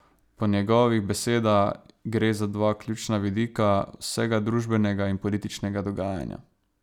Po njegovih beseda gre za dva ključna vidika vsega družbenega in političnega dogajanja.